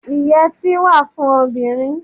Ìyètí wà fún obìnrin.